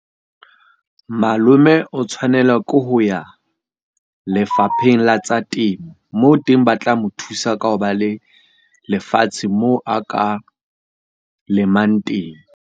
Malome o tshwanela ke ho ya Lefapheng la tsa Temo. Moo teng ba tla mo thusa ka ho ba le lefatshe moo a ka lemang teng.